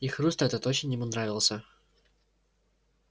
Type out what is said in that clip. и хруст этот очень ему нравился